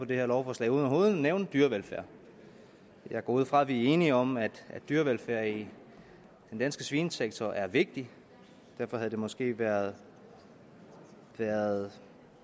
det her lovforslag uden overhovedet at nævne dyrevelfærd jeg går ud fra at vi er enige om at dyrevelfærd i den danske svinesektor er vigtig og derfor havde det måske været været